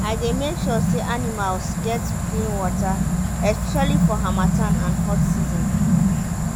i dey make sure say animals get clean water especially for harmattan and hot season.